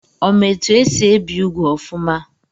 Ọ ma etu esi ebi úgwù ọfụma?